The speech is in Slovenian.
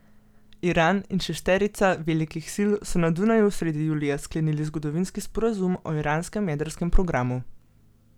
Iran in šesterica velikih sil so na Dunaju sredi julija sklenili zgodovinski sporazum o iranskem jedrskem programu.